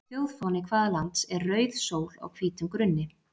Þjóðfáni hvaða lands er rauð sól á hvítum grunni?